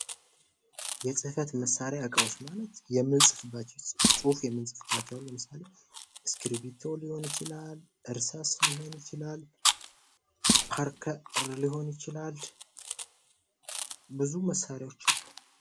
የፅህፈት መሳሪያ እቃዎች ማለት የምንፅፍበት ፅሁፍ የምንፅፍባቸዉ ማለት ነዉ። ለምሳሌ እስክርቢቶ ሊሆን ይችላላ። እርሳስ ሊሆን ይችላል። ፓርከር ሊሆን ይችላል። ብዙ መሳሪያዎች አሉ።